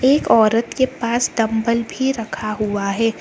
एक औरत के पास डंबल भी रखा हुआ है।